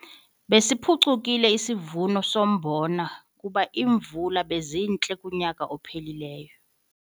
Besiphucukile isivuno sombona kuba iimvula bezintle kunyaka ophelileyo.